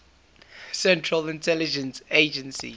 central intelligence agency